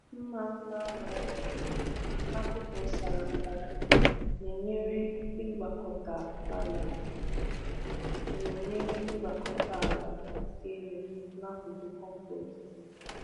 Mma mma nwere agụkpụ sara mbara na-enyere ịgbakọta ala na-enyere ịgbakọta ala elu n’akụkụ compost.